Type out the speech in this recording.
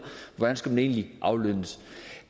hvordan skulle man egentlig aflønnes